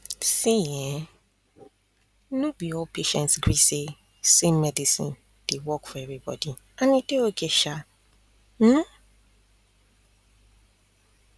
see um be all patients gree say same medicine dey work for everybody and e dey okay sha um oo